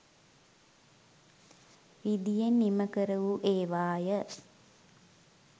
රිදියෙන් නිමකරවූ ඒවා ය.